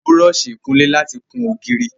A n lo Búrọ̀ọ̀ṣì ìkunlé láti kùn ògiri